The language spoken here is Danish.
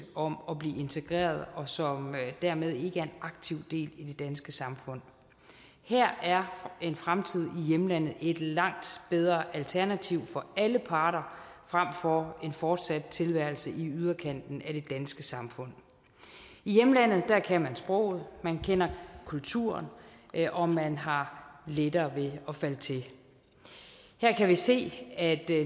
om at blive integreret og som dermed ikke er en aktiv del af det danske samfund her er en fremtid i hjemlandet et langt bedre alternativ for alle parter frem for en fortsat tilværelse i yderkanten af det danske samfund i hjemlandet kan man sproget man kender kulturen og man har lettere ved at falde til her kan vi se at